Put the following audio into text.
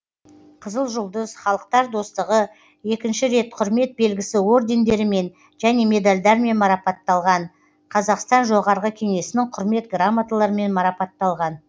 қызыл жұлдыз халықтар достығы екі рет құрмет белгісі ордендерімен және медальдармен марапатталған қазақстан жоғары кеңесінің құрмет грамоталарымен марапатталған